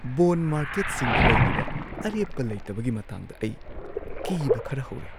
Bond ꯃꯥꯔꯀꯦꯠꯁꯤꯡꯗ ꯂꯩꯔꯤꯕ ꯑꯔꯦꯞꯄ ꯂꯩꯇꯕꯒꯤ ꯃꯇꯥꯡꯗ ꯑꯩ ꯀꯤꯕ ꯈꯔ ꯍꯧꯔꯦ꯫